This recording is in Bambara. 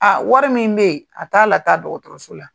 Aa wari min bɛ yen a t'a la taa dɔgɔtɔrɔso la.